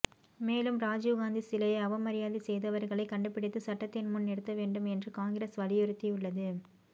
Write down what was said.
மேலும் ராஜீவ் காந்தி சிலையை அவமரியாதை செய்தவர்களை கண்டுபிடித்து சட்டத்தின் முன் நிறுத்த வேண்டும் என்று காங்கிரஸ் வலியுறுத்தியுள்ளது